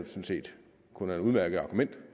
set kun er et udmærket argument